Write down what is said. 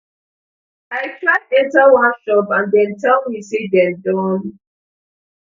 i try enta one shop and dem tell me say dem don